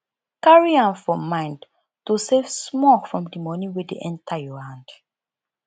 carry am for mind to save small from di money wey dey enter your hand